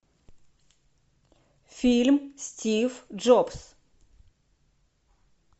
фильм стив джобс